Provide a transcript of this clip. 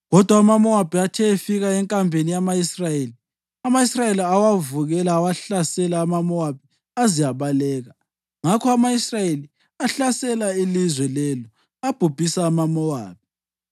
Kodwa amaMowabi athe efika enkambeni yama-Israyeli, ama-Israyeli awavukela awahlasela, amaMowabi aze abaleka. Ngakho ama-Israyeli ahlasela ilizwe lelo abhubhisa amaMowabi.